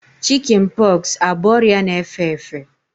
Chikin pọksi abụ ọrịa na-efe efe?